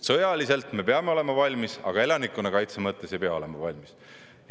Sõjaliselt me peame olema valmis, aga elanikkonnakaitse mõttes ei pea olema valmis.